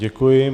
Děkuji.